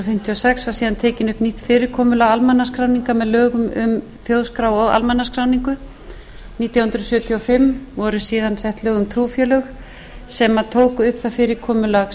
sex var síðan tekið upp nýtt fyrirkomulag almannaskráninga með lögum um þjóðskrá og almannaskráningu nítján hundruð sjötíu og fimm voru síðan sett lög um trúfélög sem tók upp það